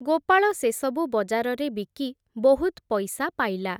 ଗୋପାଳ ସେସବୁ ବଜାରରେ ବିକି ବହୁତ୍ ପଇସା ପାଇଲା ।